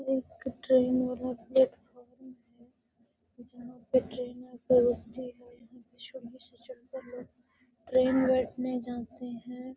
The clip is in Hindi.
एक ट्रेन वाला प्लेटफार्म है जहाँ पे ट्रेन आके रूकती है। यहाँ पे लोग ट्रेन बैठने जाते हैं।